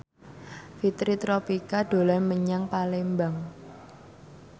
Fitri Tropika dolan menyang Palembang